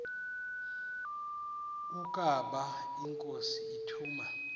ukaba inkosi ituna